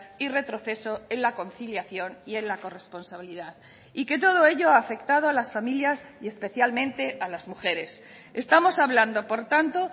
y retroceso en la conciliación y en la corresponsabilidad y que todo ello ha afectado a las familias y especialmente a las mujeres estamos hablando por tanto